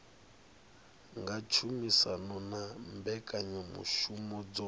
nga tshumisano na mbekanyamushumo dzo